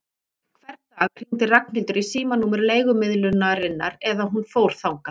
Hvern dag hringdi Ragnhildur í símanúmer leigumiðlunarinnar eða hún fór þangað.